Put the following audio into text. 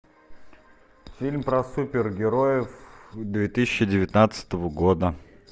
фильм про супергероев две тысячи девятнадцатого года